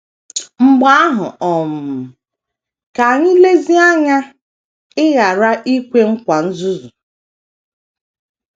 Mgbe ahụ um, ka anyị lezie anya ịghara ikwe nkwa nzuzu.